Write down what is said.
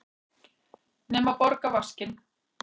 Nema borga vaskinn.